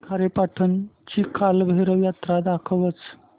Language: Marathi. खारेपाटण ची कालभैरव जत्रा दाखवच